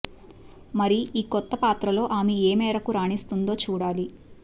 మరి ఈ కొత్త పాత్రలో ఆమె ఏ మేరకు రాణిస్తుందో చూడాలి